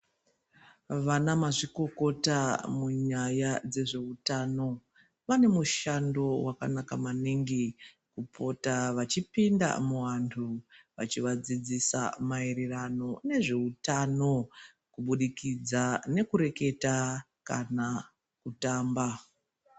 Vana mazvikokota munyaya dzezveutano vanemushando wakanaka maningi kupota vachipinda muvantu vachivadzidzisa maererano nezveutano kubudikidza nekureketa kana kutamba.